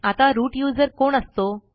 आता root user कोण असतो